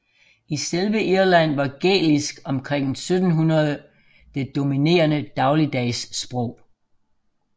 I selve Irland var gælisk omkring 1700 det dominerende dagligdagssprog